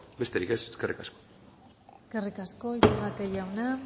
besterik ez eskerrik asko eskerrik asko iturrate jauna